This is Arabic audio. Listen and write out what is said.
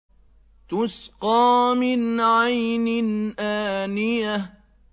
تُسْقَىٰ مِنْ عَيْنٍ آنِيَةٍ